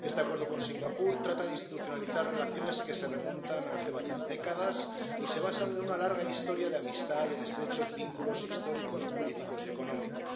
Este Acuerdo con Singapur trata de institucionalizar relaciones que se remontan a hace varias décadas y se basan en una larga historia de amistad y en estrechos vínculos históricos, políticos y económicos.